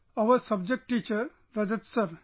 One of our subject teachers Rajat sir